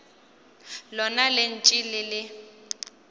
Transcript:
lona le ntše le le